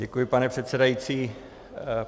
Děkuji, pane předsedající.